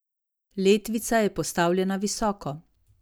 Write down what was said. Letvica je postavljena visoko.